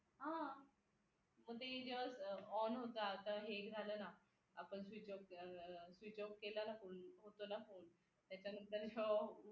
हा मग ती ज्यावेळेस on होता आता हे एक झाले ना आपण switch off केला ना होतो ना फोन त्याच्यानंतर उघडतो ना फोन